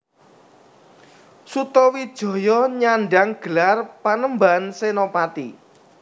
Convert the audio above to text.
Sutawijaya nyandang gelar Panembahan Senapati